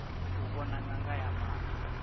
u vhona ṅanga ya maṱo